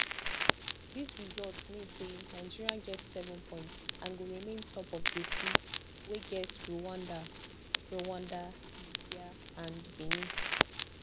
dis result mean say nigeria get seven points and go remain top of group d wey get rwanda rwanda libya and benin